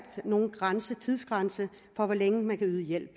nogen tidsgrænse for hvor længe man kan yde hjælp